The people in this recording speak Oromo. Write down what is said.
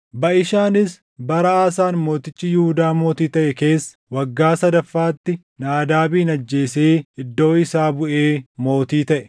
Baʼishaanis bara Aasaan mootichi Yihuudaa mootii taʼe keessa waggaa sadaffaatti Naadaabin ajjeesee iddoo isaa buʼee mootii taʼe.